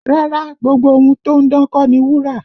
Rárá, gbogbo ohun tó ń dán kọ́ ni wúrà